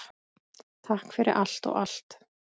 Takk fyrir allt og allt!